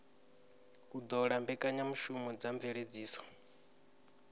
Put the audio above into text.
u ṱola mbekanyamushumo dza mveledziso